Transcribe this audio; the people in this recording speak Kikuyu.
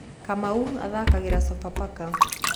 Kamau athakagĩra Sofapaka.